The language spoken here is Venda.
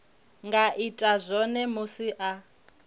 nga ita zwone musi a